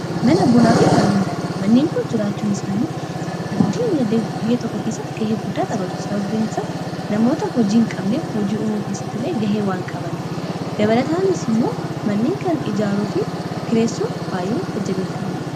mana bunaa fi manniin nyaata manneen koo jiraachuun isaanii biyya tokko keessatti gahee guddaa tabatu sababbiinsaas namoota hojii hin qabnef hojii umuu keessattilee gahee waan qabane dabalataanis immoo manniin kan ijaaroo fi kireessoo baa'ee tajjabeeffammadha